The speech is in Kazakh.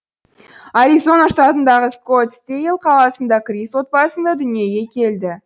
аризона штатындағы скоттсдейл қаласында крист отбасында дүниеге келді